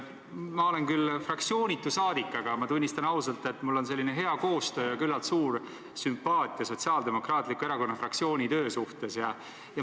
Ma olen küll fraktsioonitu saadik, aga tunnistan ausalt, et mul on hea koostöö Sotsiaaldemokraatliku Erakonna fraktsiooniga ja tunnen nende töö vastu üsna suurt sümpaatiat.